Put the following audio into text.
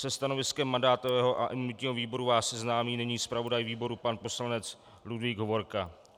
Se stanoviskem mandátového a imunitního výboru vás seznámí nyní zpravodaj výboru pan poslanec Ludvík Hovorka.